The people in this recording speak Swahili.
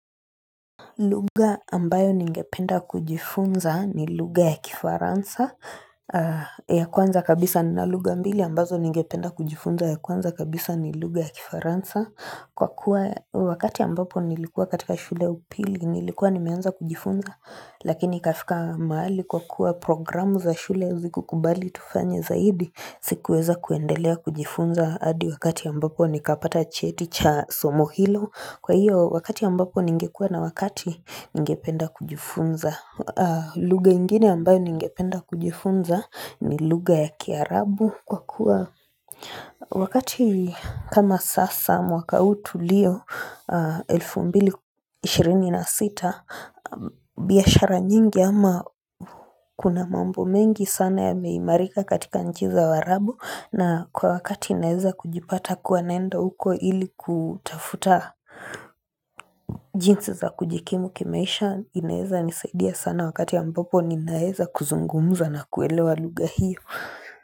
Lugha ambayo ningependa kujifunza ni lugha ya kifaransa ya kwanza kabisa na lugha mbili ambazo ningependa kujifunza ya kwanza kabisa ni lugha ya kifaransa kwa kuwa wakati ambapo nilikuwa katika shule ya upili nilikuwa nimeanza kujifunza lakini ikafika maali kwa kuwa programu za shule ziku kubali tufanye zaidi sikuweza kuendelea kujifunza adi wakati ambapo nikapata cheti cha somo hilo Kwa hiyo wakati ambapo ningekua na wakati ningependa kujifunza lugha ingine ambayo ningependa kujifunza ni lugha ya kiarabu Kwa kuwa wakati kama sasa mwaka huu tuliyo 2026 biashara nyingi ama kuna mambo mengi sana yameimarika katika nchi za waarabu na kwa wakati naeza kujipata kuwa naenda huko ili kutafuta jinsi za kujikimu kimaisha inaeza nisaidia sana wakati ya ambapo ninaeza kuzungumuza na kuelewa lugha hiyo.